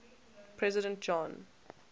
president john